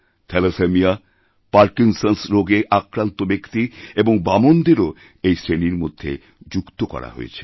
thalassaemia পারকিন্সন্সরোগে আক্রান্ত ব্যক্তি এবং বামনদেরও এই শ্রেণির মধ্যে যুক্ত করা হয়েছে